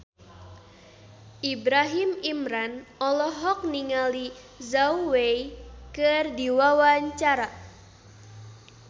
Ibrahim Imran olohok ningali Zhao Wei keur diwawancara